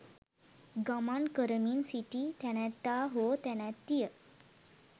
ගමන් කරමින් සිටි තැනැත්තා හෝ තැනැත්තිය